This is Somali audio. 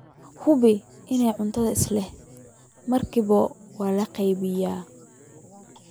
Hubi in cuntada isla markiiba la qaboojiyey.